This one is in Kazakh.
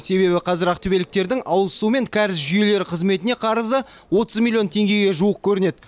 себебі қазір ақтөбеліктердің ауыз суы мен кәріз жүйелері қызметіне қарызы отыз миллион теңгеге жуық көрінеді